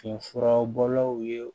Nin furabɔlaw ye